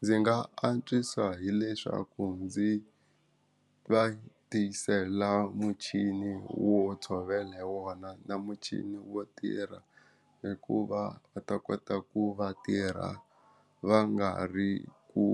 Ndzi nga antswisa hileswaku ndzi va tisela muchini wo tshovela hi wona na muchini wo tirha hikuva va ta kota ku va tirha va nga ri ku